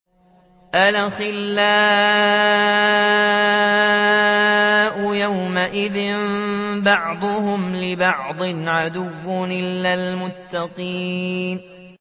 الْأَخِلَّاءُ يَوْمَئِذٍ بَعْضُهُمْ لِبَعْضٍ عَدُوٌّ إِلَّا الْمُتَّقِينَ